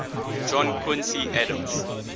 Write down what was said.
john quincy adams